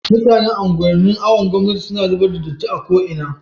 mutanan unguwan nin awon gomnati na zubar da datti a ko ina